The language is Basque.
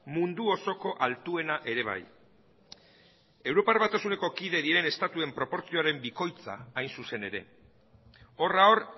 mundu osoko altuena ere bai europar batasuneko kide diren estatuen proportzioaren bikoitza hain zuzen ere horra hor